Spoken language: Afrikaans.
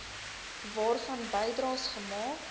waarvan bydraes gemaak